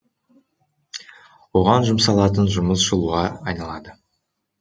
оған жұмсалатын жұмыс жылуға айналады